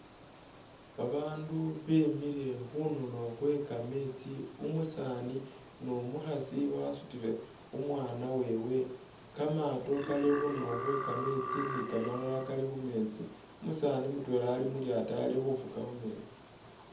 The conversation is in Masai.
Ba bandu bemikhile khundulo khwe kametsi, umusani ni umukhasi wasutile umwana wewe, kamato kali khundulo khwe kametsi ni kamalala kali khu metsi umusani mutwela ali mulyato ali khu fuka khumetsi.